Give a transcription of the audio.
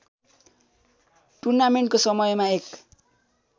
टूर्नामेन्टको समयमा एक